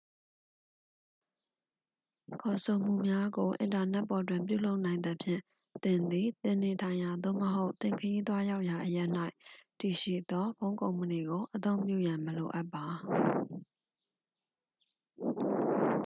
ခေါ်ဆိုမှုများကို အင်တာနက်ပေါ်တွင် ပြုလုပ်နိုင်သဖြင့် သင်သည် သင်နေထိုင်ရာ သို့မဟုတ် သင်ခရီးသွားရောက်ရာ အရပ်၌ တည်ရှိသော ဖုန်းကုမ္ပဏီကို အသုံးပြုရန် မလိုအပ်ပါ